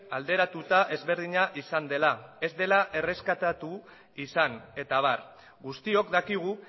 alderatuta ezberdina izan dela ez dela erreskatatu izan eta abar guztiok dakigu